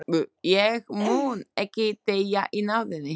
Ég mun ekki deyja í náðinni.